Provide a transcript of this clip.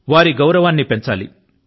వారి గౌరవాన్ని పెంచాలి